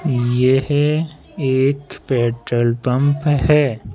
येह एक petrol pump है।